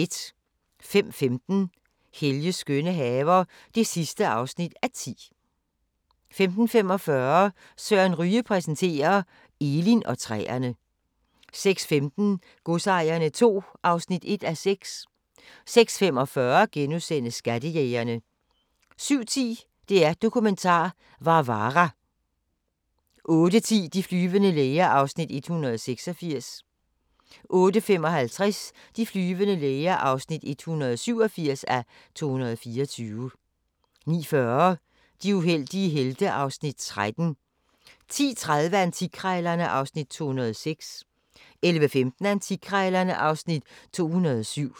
05:15: Helges skønne haver (10:10) 05:45: Søren Ryge præsenterer – Elin og træerne 06:15: Godsejerne II (1:6) 06:45: Skattejægerne * 07:10: DR Dokumentar - Varvara 08:10: De flyvende læger (186:224) 08:55: De flyvende læger (187:224) 09:40: De uheldige helte (Afs. 13) 10:30: Antikkrejlerne (Afs. 206) 11:15: Antikkrejlerne (Afs. 207)